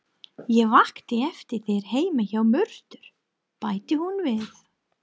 Ég vakti eftir þér heima hjá Mörtu, bætti hún við.